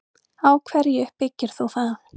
Á hverju byggir þú það?